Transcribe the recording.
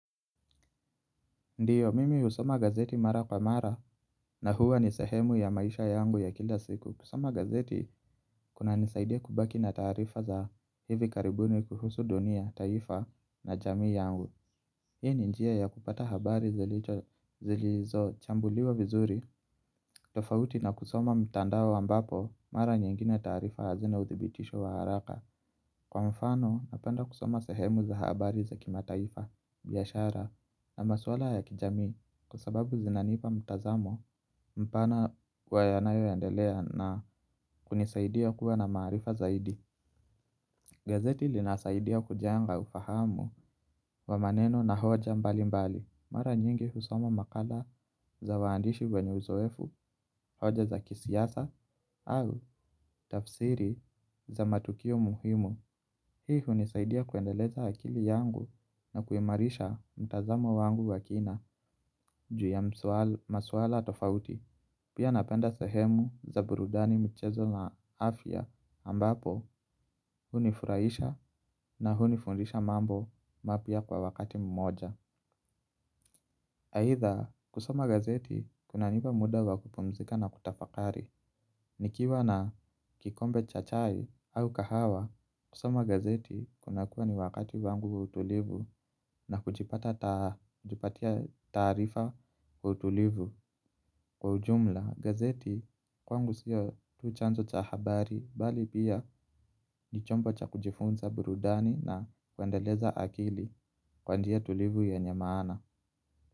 Ndiyo mimi usoma gazeti mara kwa mara na huwa ni sehemu ya maisha yangu ya kila siku kusoma gazeti kuna nisaidia kubaki na tarifa za hivi karibuni kuhusu dunia taifa na jami yangu. Hii ni njia ya kupata habari zilizo chambuliwa vizuri tofauti na kusoma mtandawo ambapo mara nyingine tarifa hazina uthibitisho wa haraka. Kwa mfano napenda kusoma sehemu za habari za kimataifa biyashara na maswala ya kijami kusababu zinanipa mtazamo mpana kwa yanayo yandelea na kunisaidia kuwa na marifa zaidi. Gazeti linasaidia kujenga ufahamu wa maneno na hoja mbali mbali. Mara nyingi husoma makala za waandishi wenye uzoefu, hoja za kisiasa au tafsiri za matukio muhimu. Hii hunisaidia kuendeleza akili yangu na kuimarisha mtazamo wangu wa kina juu ya masuala tofauti. Pia napenda sehemu za burudani mchezo na afya ambapo hunifuraisha na hunifundisha mambo mapia kwa wakati mmoja. Haitha kusoma gazeti kunaniba muda wa kupumzika na kutafakari. Nikiwa na kikombe cha chai au kahawa kusoma gazeti kuna kuwa ni wakati wangu wa utulivu na kujipatia tarifa kwa utulivu kwa ujumla gazeti kwangu siyo tu chanzo cha habari bali pia ni chombo cha kujifunza burudani na kwendeleza akili kwa njia tulivu yenye mana.